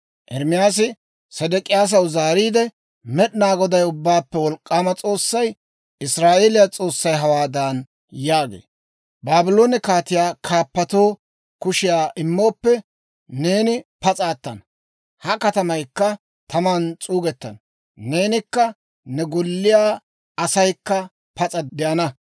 Ermaasi Sedek'iyaasaw zaariide, «Med'inaa Goday, Ubbaappe Wolk'k'aama S'oossay, Israa'eeliyaa S'oossay hawaadan yaagee; ‹Baabloone kaatiyaa kaappotoo kushiyaa immooppe, neeni pas'a attana; ha katamaykka taman s'uugettenna; neenikka ne golliyaa asaykka pas'a de'ana.